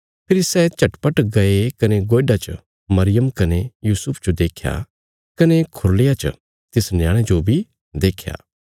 फेरी सै झटपट गये कने गोयडा च मरियम कने यूसुफ जो देख्या कने खुरलिया च तिस न्याणे जो बी देख्या